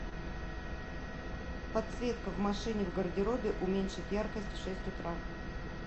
подсветка в машине в гардеробе уменьшить яркость в шесть утра